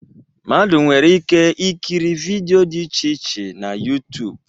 Mmadụ nwere ike ikiri vidịo dị iche iche na YuTuub